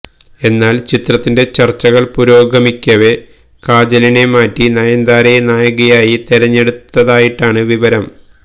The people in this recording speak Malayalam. എന്നാല് ചിത്രത്തിന്റെ ചര്ച്ചകള് പുരോഗമിക്കവേ കാജലിനെ മാറ്റി നയന്താരയെ നായികയായി തെരഞ്ഞെടുത്തതായിട്ടാണ് വിവരം